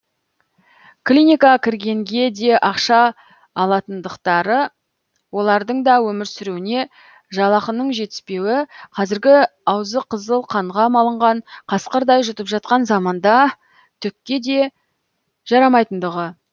клиникаға кіргенге де ақша алатындықтары олардың да өмір сүруіне жалақының жетіспеуі қазіргі аузы қызыл қанға малынған қасқырдай жұтып жатқан заманда түкке де жарамайтындығы